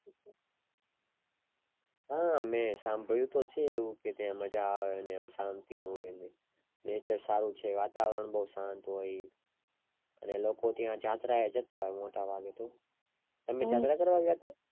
હા મેં સાંભળ્યું તો છે એવું ત્યાં મજા આવે ને એમ શાંતિ હોય ને nature સારું છે વાતાવરણ બૌજ શાંત હોય અને ત્યાં લોકો જાત્રા એ જતા હોય મોટા ભાગે તો તમે જાત્ર કરવા ગયા હતા